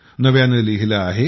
नव्याने लिहिले आहे